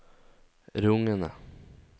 rungende